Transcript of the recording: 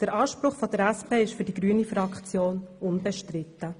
Der Anspruch der SP ist für die grüne Fraktion unbestritten.